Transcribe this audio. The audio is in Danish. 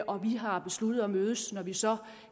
og vi har besluttet at mødes når vi så